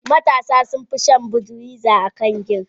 Matasa sun fison shan budweiser akan gin.